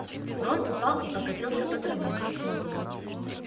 рон упал и покатился по траве